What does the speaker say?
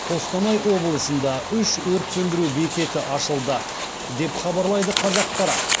қостанай облысында үш өрт сөндіру бекеті ашылды деп хабарлайды қазақпарат